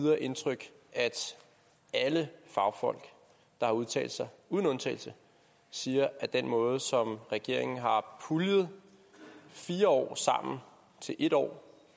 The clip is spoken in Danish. videre indtryk at alle fagfolk der har udtalt sig uden undtagelse siger at den måde som regeringen har puljet fire år sammen til en år